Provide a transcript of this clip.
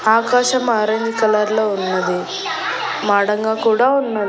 ఆకాశం orange colour లో ఉన్నది మాడంగా కూడా ఉన్న--